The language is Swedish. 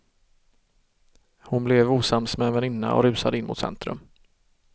Hon blev osams med en väninna och rusade in mot centrum.